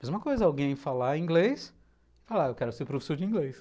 Mesma coisa, alguém falar inglês, falar eu quero ser professor de inglês.